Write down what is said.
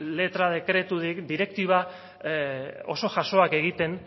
letra dekretu direktiba oso jasoak egiten